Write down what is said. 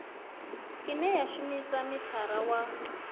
ine ya shumisa mithara wa